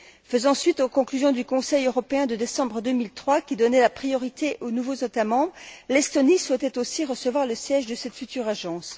Faisant suite aux conclusions du Conseil européen de décembre 2003, qui donnait la priorité aux nouveaux États membres, l'Estonie souhaitait aussi recevoir le siège de cette future agence.